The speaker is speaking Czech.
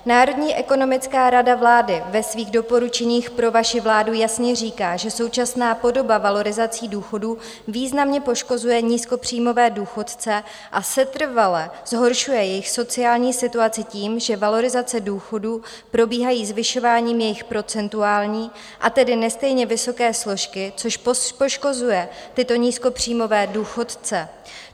Národní ekonomická rada vlády ve svých doporučeních pro vaši vládu jasně říká, že současná podoba valorizací důchodů významně poškozuje nízkopříjmové důchodce a setrvale zhoršuje jejich sociální situaci tím, že valorizace důchodů probíhají zvyšováním jejich procentuální, a tedy nestejně vysoké složky, což poškozuje tyto nízkopříjmové důchodce.